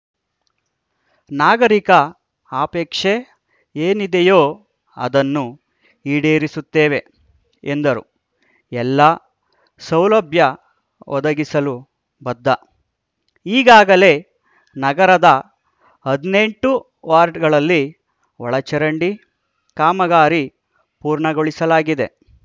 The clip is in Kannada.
ನಾಗರಿಕರ ಅಪೇಕ್ಷೆ ಏನಿದೆಯೋ ಅದನ್ನು ಈಡೇರಿಸುತ್ತೇವೆ ಎಂದರು ಎಲ್ಲ ಸೌಲಭ್ಯ ಒದಗಿಸಲು ಬದ್ಧ ಈಗಾಗಲೇ ನಗರದ ಹದಿನೆಂಟು ವಾರ್ಡ್‌ಗಳಲ್ಲಿ ಒಳಚರಂಡಿ ಕಾಮಗಾರಿ ಪೂರ್ಣಗೊಳಿಸಲಾಗಿದೆ